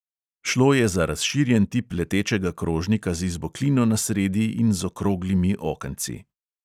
Šlo je za razširjen tip letečega krožnika z izboklino na sredi in z okroglimi okenci.